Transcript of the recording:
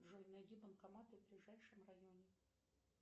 джой найди банкоматы в ближайшем районе